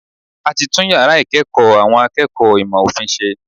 A ti tún yàrá ìkẹ́ẹ̀kọ̀ àwọn akẹ́kọ̀ọ́ ìmọ̀ òfin ṣe.